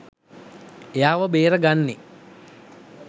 එයාව බේර ගන්නෙ